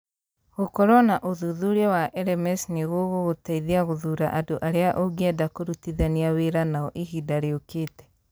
Gũkorũo na ũthuthuria wa LMS nĩ gũgũgũteithia gũthuura andũ arĩa ũngĩenda kũrutithania wĩra nao ihinda rĩũkĩte.